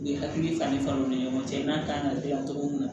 U ye hakili fani faamu u ni ɲɔgɔn cɛ i n'a kan ka dilan cogo min na